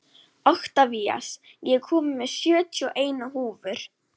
Oktavías, ég kom með sjötíu og eina húfur!